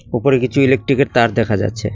উপরে কিছু ইলেকট্রিকের তার দেখা যাচ্ছে।